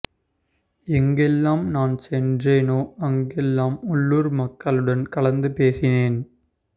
எங்கெல்லாம் நான் சென்னேறேனோ அங்கெல்லாம் உள்ளூர் மக்களுடன் கலந்து பேசினேன்